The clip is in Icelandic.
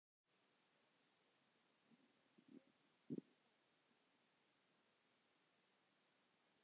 Blessuð sé minning Einars Mýrdal.